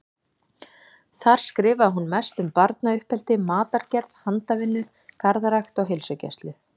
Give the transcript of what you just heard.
Þar skrifaði hún mest um barnauppeldi, matargerð, handavinnu, garðrækt og heilsugæslu.